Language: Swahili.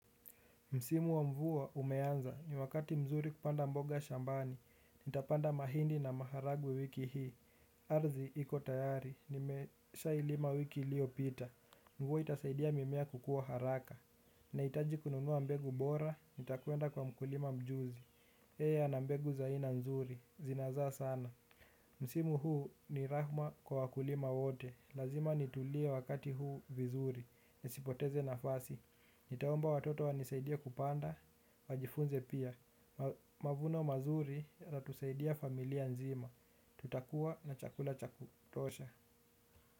Msimu wa mvua umeanza, ni wakati mzuri kupanda mboga shambani, nitapanda mahindi na maharagwe wiki hii, ardhi iko tayari, nimeshailima wiki iliyopita, mvua itasaidia mimea kukua haraka. Nahitaji kununua mbegu bora, nitakwenda kwa mkulima mjuzi, yeye ana mbegu za aina nzuri, zinazaa sana. Msimu huu ni rahma kwa wakulima wote. Lazima nitulie wakati huu vizuri. Nisipoteze nafasi. Nitaomba watoto wanisaidie kupanda. Wajifunze pia. Mavuno mazuri yanatusaidia familia nzima. Tutakua na chakula cha kutosha.